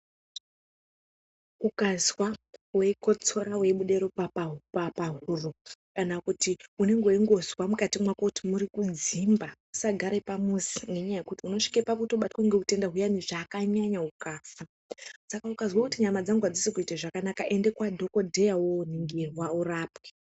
Ukazwa weikotsora, weibude ropa pahuro, kana kuti unenge weingozwa mukati mwako kuti mwuri kudzimba, usagare pamuzi ngekuti unosvike pakutobatwa ngeutenda huyani zvakanyanya ukafa, saka ukazwa kuti nyama dzangu adzisi kuita zvakananka ende kwadhokodheya woningirwa urapwe.